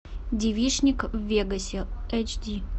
девичник в вегасе эйч ди